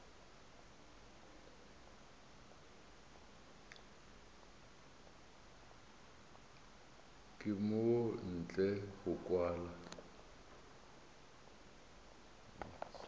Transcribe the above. ka mo ntle go kwala